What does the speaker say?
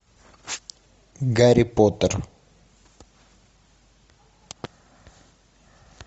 гарри поттер